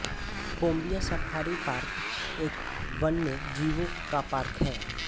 Pombia safari park एक वन्यजीवों का पार्क है